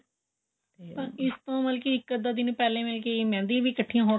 ਤਾਂ ਇਸਤੋਂ ਮਤਲਬ ਕੀ ਇੱਕ ਅੱਧਾ ਦਿਨ ਪਹਿਲਾਂ ਮਹਿੰਦੀ ਵੀ ਇੱਕਠੀਆਂ ਹੋਕੇ